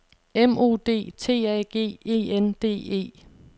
M O D T A G E N D E